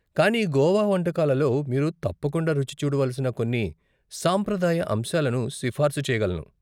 కానీ గోవా వంటకాలలో మీరు తప్పకుండ రుచి చూడవలసిన కొన్ని సాంప్రదాయ అంశాలను సిఫార్సు చేయగలను.